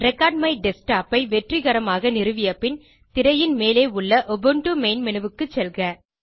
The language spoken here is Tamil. ரெக்கார்ட்மைடஸ்க்டாப் ஐ வெற்றிகரமாக நிறுவியபின் திரையின் மேலே உள்ள உபுண்டு மெயின் மேனு க்கு செல்க